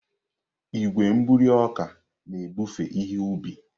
Igwe mbuli ọka na-ebufe ihe ubi.